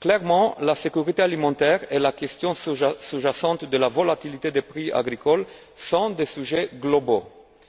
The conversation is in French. Clairement, la sécurité alimentaire et la question sous jacente de la volatilité des prix agricoles sont des sujets globaux